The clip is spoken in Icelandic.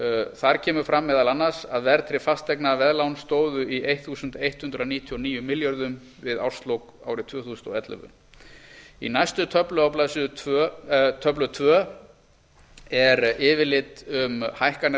þar kemur fram meðal annars að verðtryggð fasteignaveðlán stóðu í ellefu hundruð níutíu og níu milljörðum við árslok árið tvö þúsund og ellefu á næstu blaðsíðu í töflu tvö er yfirlit um hækkanir á